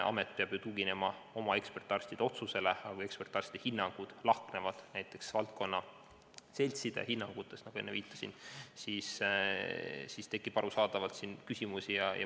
Amet peab ju tuginema oma ekspertarstide otsusele, aga kui ekspertarstide hinnangud lahknevad näiteks vastava valdkonna seltside hinnangutest, nagu enne viitasin, siis tekib arusaadavalt küsimusi.